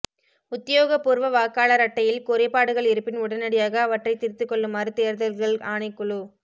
உத்தியோகபூர்வ வாக்காளர் அட்டையில் குறைபாடுகள் இருப்பின் உடனடியாக அவற்றை திருத்திக் கொள்ளுமாறு தேர்தல்கள் ஆணைக்குழு